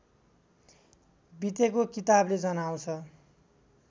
बितेको किताबले जनाउँछ